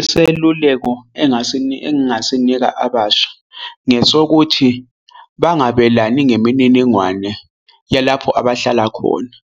Iseluleko engasinika engasinika abasha ngesokuthi bangabelani ngemininingwane yalapho abahlala khona,